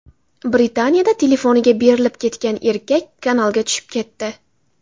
Britaniyada telefoniga berilib ketgan erkak kanalga tushib ketdi .